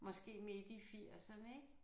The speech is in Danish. Måske midt i firserne ik